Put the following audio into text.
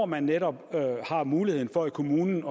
man netop har mulighed for i kommunen